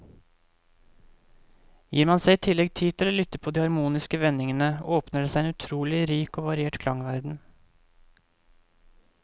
Gir man seg i tillegg tid til å lytte på de harmoniske vendingene, åpner det seg en utrolig rik og variert klangverden.